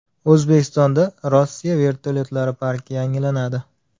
O‘zbekistonda Rossiya vertolyotlari parki yangilanadi.